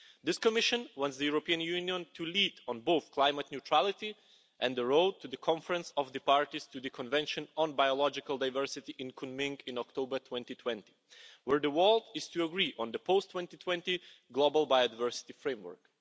This Commission wants the European Union to lead on both climate neutrality and the road to the Conference of the Parties to the Convention on Biological Diversit in Kunming in October 2020, where the world is to agree on the post-2020 global biodiversity framework.